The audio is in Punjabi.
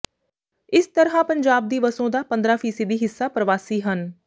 ਇਸ ਤਰ੍ਹਾਂ ਪੰਜਾਬ ਦੀ ਵਸੋਂ ਦਾ ਪੰਦਰਾਂ ਫੀਸਦੀ ਹਿੱਸਾ ਪਰਵਾਸੀ ਹਨ